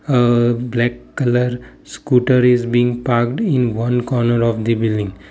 aa black colour scooter is being parked in one corner of the building.